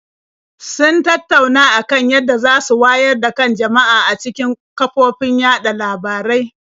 Sun tattauna a kan yadda za su wayar da kan jama'a ta cikin kafofin yaɗa labarai.